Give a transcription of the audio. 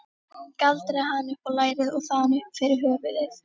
Galdraði hann upp á lærið og þaðan upp fyrir höfuðið.